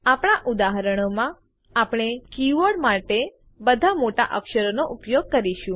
આપણા ઉદાહરણોમાં આપણે કીવર્ડો માટે બધા મોટા અક્ષરોનો ઉપયોગ કરીશું